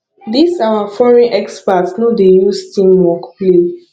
dis our foreign expert no dey use team work play